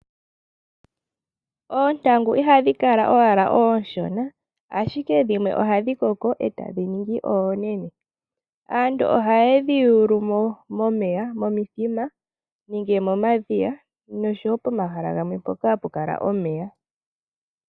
Oontangu ihadhi kala wala onshona ashike dhimwe ohadhi koko etadhi ningi oonene. Aantu ohaye dhi yulu mo momeya momithima, nenge momadhiya noshowo pomahala gamwe mpoka hapu kala omeya.